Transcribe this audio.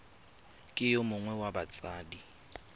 ke yo mongwe wa batsadi